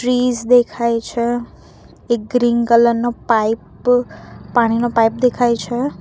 ટ્રીસ દેખાય છે એક ગ્રીન કલર નો પાઇપ પાણીનો પાઇપ દેખાય છે.